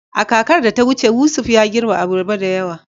A kakar da ta wuce, Yusuf ya girbe abarba da yawa.